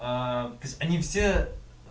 то есть они все